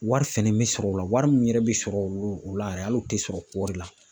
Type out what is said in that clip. Wari fɛnɛ bɛ sɔrɔ o la wari min yɛrɛ bɛ sɔrɔ o la yɛrɛ hali o tɛ sɔrɔ kɔɔri la